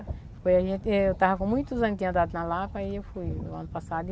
Eu estava com muitos anos de andado na Lapa e eu fui no ano passado.